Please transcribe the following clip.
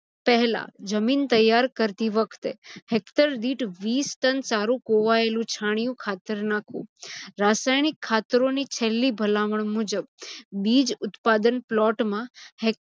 પહેલા જમીન તૈયાર કરતી વખતે hector દીઠ વીસ ton સારું કોવાયેલું છાણીયું ખાતર નાખવું. રાસાયણીક ખાતરોની થેલી ભલામણ મુજબ બીજ ઉત્પાદન plot મા